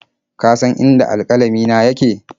Ka san inda alƙalamina yake?